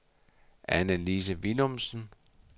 Anne-Lise Villumsen